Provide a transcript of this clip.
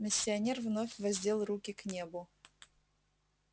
миссионер вновь воздел руки к небу